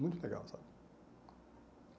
Muito legal, sabe?